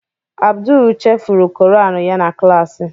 Abdul chefuru Koran ya na klaasị.